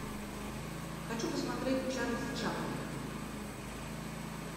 хочу посмотреть чарльза чаплина